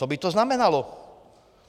Co by to znamenalo?